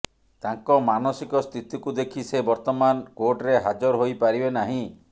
ତାଙ୍କ ମାନସିକ ସ୍ଥିତିକୁ ଦେଖି ସେ ବର୍ତ୍ତମାନ କୋର୍ଟରେ ହାଜର ହୋଇପାରିବେ ନାହିଁ